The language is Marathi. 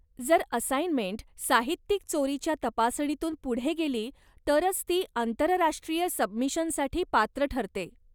जर असाइनमेंट साहित्यिक चोरीच्या तपासणीतून पुढे गेली तरच ती आंतरराष्ट्रीय सबमिशनसाठी पात्र ठरते.